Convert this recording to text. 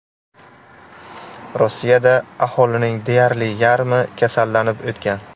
Rossiyada aholining deyarli yarmi kasallanib o‘tgan.